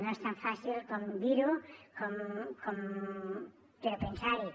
no és tan fàcil com dir ho però pensar hi